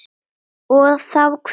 Og þá kveð ég.